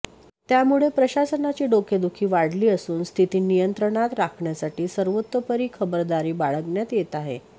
त्यामुळे प्रशासनाची डोकेदुखी वाढली असून स्थिती नियंत्रणात राखण्यासाठी सर्वतोपरी खबरदारी बाळगण्यात येत आहे